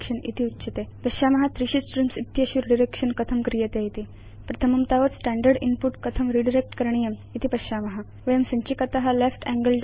इति उच्यते अधुना पश्याम त्रीषु स्ट्रीम्स् इत्येतेषु रिडायरेक्शन कथं क्रियते इति प्रथमं तावत् स्टैण्डर्ड् इन्पुट कथं रिडायरेक्ट् करणीयम् इति पश्याम वयं संचिकात आपरेटर